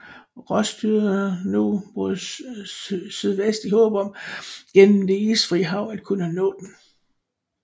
Ross styrede nu mod syvest i håb om gennem det isfrie hav at kunne nå den